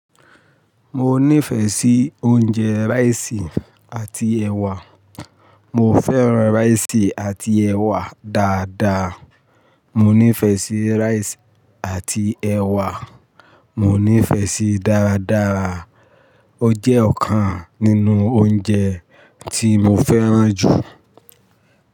Mo nífẹ̀ẹ́ sí oúnjẹ rice àti ẹwà. Mo fẹ́ràn rice àti ẹwà dáadáa. Mo nífẹ̀ẹ́ sí rice àti ẹwà. Mo nífẹ̀ẹ́ síi dáadáa. Ó jẹ́ ọ̀kan nínú oúnjẹ tí mo fẹ́ràn jù.